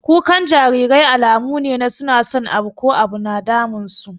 Kukan jarirai alamu ne su na son abu ko abu yana damun su.